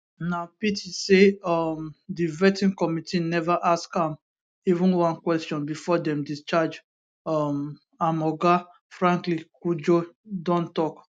na pity say um di vetting committee neva ask am even one question bifor dem discharge um am oga franklin cudjoe don tok